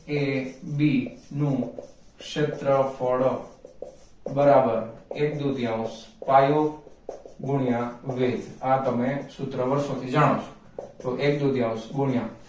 a b નું ક્ષેત્રફળ બરાબર એક દુતિયાઉન્સ પાયો ગુણ્યા વેદ આ તમે સૂત્ર વર્ષોથી જણાવશો તો એક દુતિયાઉન્સ ગુણ્યા